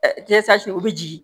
o bɛ jigin